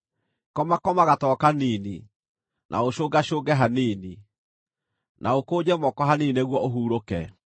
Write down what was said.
Komakoma gatoro kanini, na ũcũngacũnge hanini, na ũkũnje moko hanini nĩguo ũhurũke;